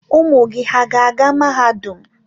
Ụmụ gị hà ga-aga mahadum?